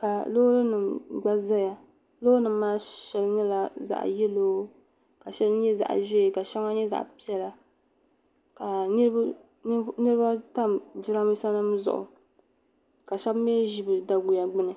ka loori nima gba zaya loori nima maa sheli nyɛla zaɣa Yelo ka sheli nyɛ zaɣa ʒee ka shaŋa nyɛ zaɣa piɛlaka niriba tam jirambisa nima zuɣu ka shebi mii ʒi bɛ daguya gbini